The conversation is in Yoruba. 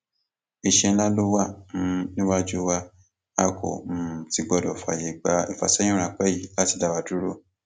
iṣẹ ńlá ló wà um níwájú wa a kò um sì gbọdọ fààyè gbé ìfàsẹyìn ráńpẹ yìí láti dá wa dúró